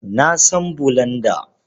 Na san bulanda.